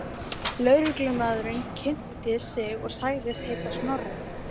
Lögreglumaðurinn kynnti sig og sagðist heita Snorri.